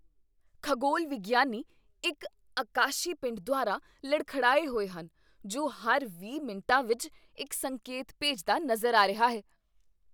ਖਗੋਲ ਵਿਗਿਆਨੀ ਇੱਕ ਆਕਾਸ਼ੀ ਪਿੰਡ ਦੁਆਰਾ ਲੜਖੜਾਏ ਹੋਏ ਹਨ ਜੋ ਹਰ ਵੀਹ ਮਿੰਟਾਂ ਵਿੱਚ ਇੱਕ ਸੰਕੇਤ ਭੇਜਦਾ ਨਜ਼ਰ ਆ ਰਿਹਾ ਹੈ